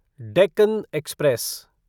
Deccan express